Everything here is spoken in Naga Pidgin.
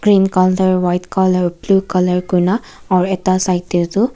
green color white color blue color kurina aro ekta side tey tu.